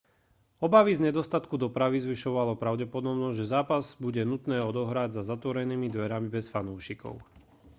obavy z nedostatku dopravy zvyšovali pravdepodobnosť že zápas bude nutné odohrať za zatvorenými dverami bez fanúšikov